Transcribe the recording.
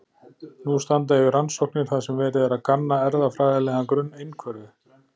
Nú standa yfir rannsóknir þar sem verið er að kanna erfðafræðilegan grunn einhverfu.